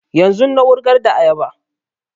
Yanzun na wurgar da ayaba